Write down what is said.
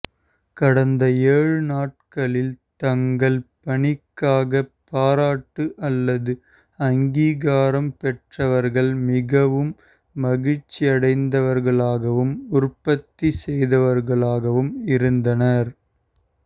கடந்த ஏழு நாட்களில் தங்கள் பணிக்காக பாராட்டு அல்லது அங்கீகாரம் பெற்றவர்கள் மிகவும் மகிழ்ச்சியடைந்தவர்களாகவும் உற்பத்தி செய்தவர்களாகவும் இருந்தனர்